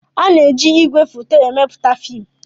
Ana-eji ìgwè foto emepụta fiim.